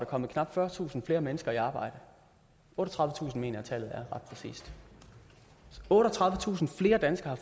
kommet knap fyrretusind flere mennesker i arbejde otteogtredivetusind mener jeg at tallet er ret præcist otteogtredivetusind flere danskere